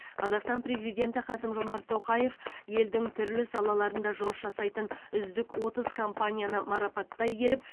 қазақстан президенті қасым жомарт тоқаев елдің түрлі салаларында жұмыс жасайтын үздік отыз компанияны марапаттай келіп